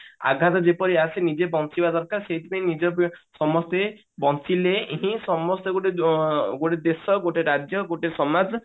ଆଗାମୀ ଯେପରି ଆସେ ନିଜେ ବଞ୍ଚିବା ଦରକାର ସେଇଥିପାଇଁ ନିଜେ ସମସ୍ତେ ବଞ୍ଚିଲେ ହିଁ ସମସ୍ତେ ଗୋଟେ ଅ ଗୋଟେ ଦେଶ ଗୋଟେ ରାଜ୍ୟ ଗୋଟେ ସମାଜ